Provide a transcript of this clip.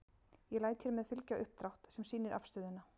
Ég læt hér með fylgja uppdrátt. sem sýnir afstöðuna.